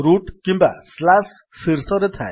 route କିମ୍ୱା ଶୀର୍ଷରେ ଥାଏ